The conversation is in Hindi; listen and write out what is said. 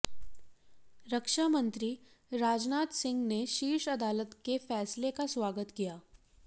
रक्षा मंत्री राजनाथ सिंह ने शीर्ष अदालत के फैसले का स्वागत किया